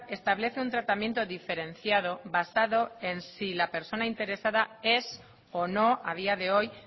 establece un tratamiento diferenciado basado en si la persona interesada es o no a día de hoy